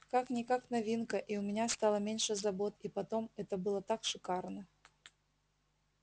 как-никак новинка и у меня стало меньше забот и потом это было так шикарно